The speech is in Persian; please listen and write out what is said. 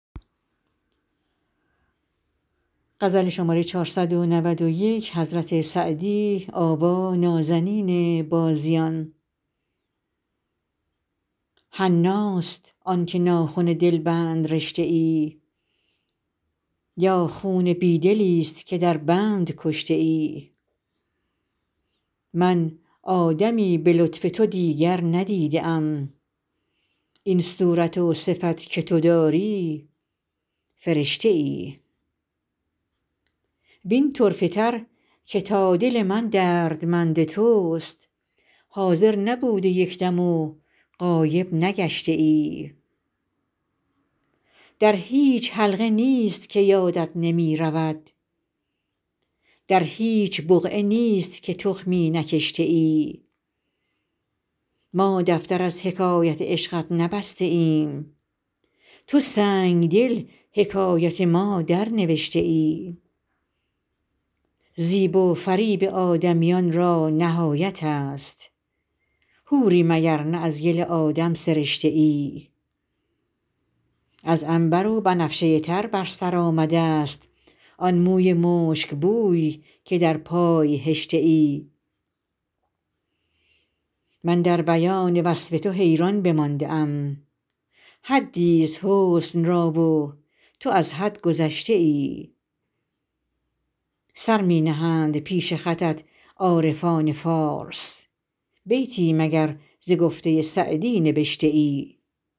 حناست آن که ناخن دلبند رشته ای یا خون بی دلیست که در بند کشته ای من آدمی به لطف تو دیگر ندیده ام این صورت و صفت که تو داری فرشته ای وین طرفه تر که تا دل من دردمند توست حاضر نبوده یک دم و غایب نگشته ای در هیچ حلقه نیست که یادت نمی رود در هیچ بقعه نیست که تخمی نکشته ای ما دفتر از حکایت عشقت نبسته ایم تو سنگدل حکایت ما درنوشته ای زیب و فریب آدمیان را نهایت است حوری مگر نه از گل آدم سرشته ای از عنبر و بنفشه تر بر سر آمده ست آن موی مشکبوی که در پای هشته ای من در بیان وصف تو حیران بمانده ام حدیست حسن را و تو از حد گذشته ای سر می نهند پیش خطت عارفان پارس بیتی مگر ز گفته سعدی نبشته ای